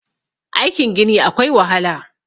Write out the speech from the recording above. aikin Gini akwai wahala